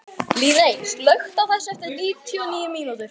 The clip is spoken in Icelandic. Líney, slökktu á þessu eftir níutíu og níu mínútur.